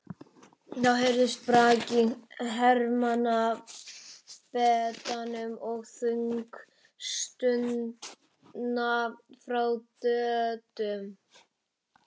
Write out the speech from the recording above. Þá heyrðist brak í hermannabeddanum og þung stuna frá Döddu.